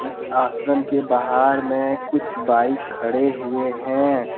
इस आश्रम के बाहर में कुछ बाइक खड़े हुए हैं।